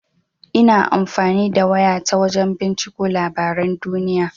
Ina amfani da waya ta wajan binciko labaran duniya.